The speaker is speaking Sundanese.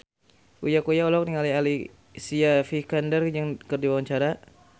Uya Kuya olohok ningali Alicia Vikander keur diwawancara